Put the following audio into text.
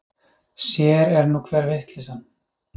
Sér er nú hver vitleysan!